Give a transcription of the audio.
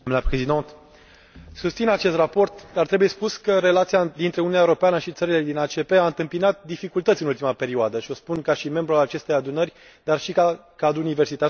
Susțin acest raport, dar trebuie spus că relația dintre Uniunea Europeană și țările din ACP a întâmpinat dificultăți în ultima perioadă, și o spun ca membru al acestei Adunări și cadru universitar specializat în domeniu.